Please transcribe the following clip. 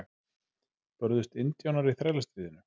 Börðust indjánar í Þrælastríðinu?